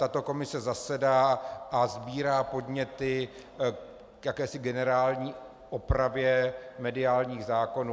Tato komise zasedá a sbírá podněty k jakési generální opravě mediálních zákonů.